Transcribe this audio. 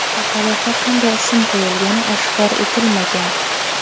Chaqaloqqa qanday ism qo‘yilgani oshkor etilmagan.